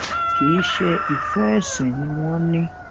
kì í ṣe ìfẹ ẹsìn ni wọn ní